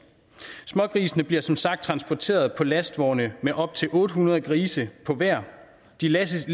smågrisene bliver som sagt transporteret på lastvogne med op til otte hundrede grise på hver de læsses